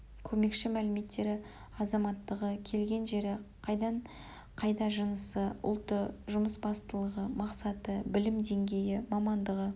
көмекші мәліметтері азаматтығы келген жері қайдан қайда жынысы жасы ұлты жұмысбастылығы мақсаты білім деңгейі мамандығы